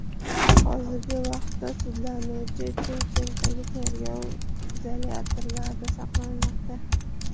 Hozirgi vaqtda sudlanuvchi Chimkentdagi tergov izolyatorida saqlanmoqda.